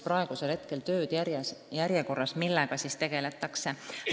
Praegu on need tööd järjekorras, nendega tegeletakse.